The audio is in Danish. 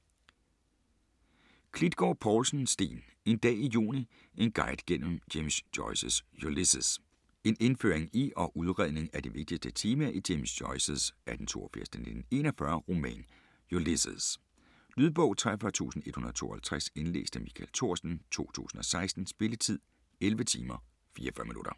Klitgård Povlsen, Steen: En dag i juni: en guide gennem James Joyces Ulysses En indføring i og udredning af de vigtigste temaer i James Joyces (1882-1941) roman Ulysses. Lydbog 43152 Indlæst af Michael Thorsen, 2016. Spilletid: 11 timer, 44 minutter.